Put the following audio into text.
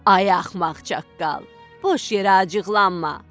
Ay axmaq çaqqal, boş yerə acıqlanma.